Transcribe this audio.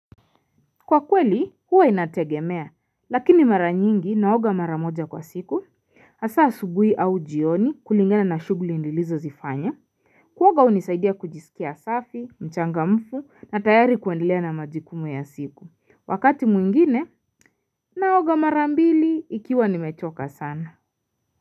Kwa kweli huwa inategemea lakini mara nyingi naoga mara moja kwa siku hasa asubuhi au jioni kulingana na shughuli nilizozifanya kuoga unisaidia kujisikia safi mchangamfu na tayari kuendelea na majukumu ya siku wakati mwingine naoga mara mbili ikiwa nimechoka sana.